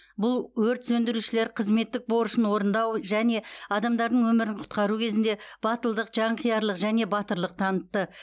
бұл өрт сөндірушілер қызметтік борышын орындау және адамдардың өмірін құтқару кезінде батылдық жанқиярлық және батырлық танытты